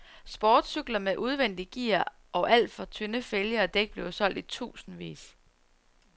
Sportscykler med udvendige gear og alt for tynde fælge og dæk blev solgt i tusindvis.